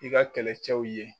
I ka kɛlɛcɛw ye.